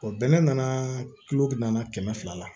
bɛnɛ nana kulugu na kɛmɛ fila la